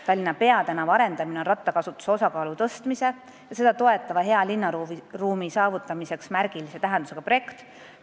Tallinna peatänava arendamine on rattakasutuse osakaalu tõstmiseks ja seda toetava hea linnaruumi saavutamiseks märgilise tähendusega projekt.